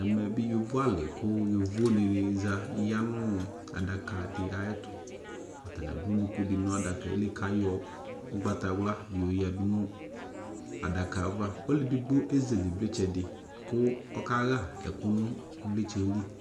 Ɛmɛ be yovo ale ko yovo de ne za ya no adaka de ayetoAtane ado ɔluku de na adakaɛ li ka yɔ ugbatawla yɔ yadu no adaka avaAlu edigbo ezele evletsɛ de ko ɔka ha ɛku no evletsɛɛ li